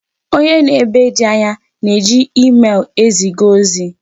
Onye nọ ebe ndị anya na-eji emel eziga ozi.